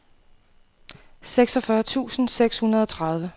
seksogfyrre tusind seks hundrede og tredive